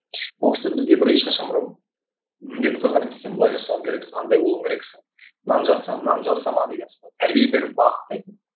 ол кісі бізге бір ешқашан бір міндет қойған емес сен бұлай жасау керексің андай болу керексің мынаны жаса мынаны жасама деген секілді тәрбие беріп бағыттайды